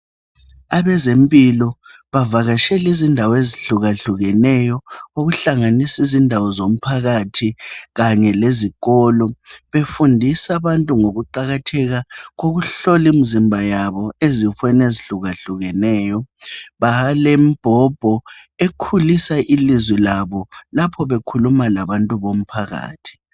Abezempilo bavakatshela izindawo ezihlukahlukeneyo. Ukuhlanganisa izindawo zomphakathi kanyelezikolo. Befundisa abantu ngokuqakatheka kokuhlolimzimba yabo ezifweni ezihlukahlukeneyo balembhobho ekhulisa ilizwe labo lapho bekhuluma labantu bomphakathi.